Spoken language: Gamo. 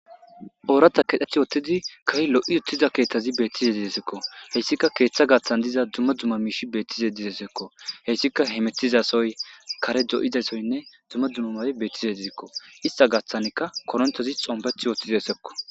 Oorata kedheth woottidi kahi lo'i uttiza keeththazi bettize didesekko heyssika keeththa gaaththan diza dumma dumma miishi beettize didesekko heyssika hemetizasoy kare do'idasoynne dumma dumumae bettizedizekko ista gaththanika korontozi xombeth wootthi diesekko.